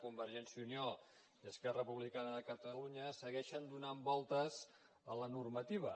convergència i unió i esquerra republicana de catalunya segueixen donant voltes a la normativa